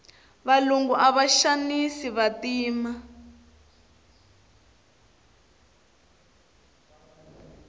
valungu ava xanisa vantima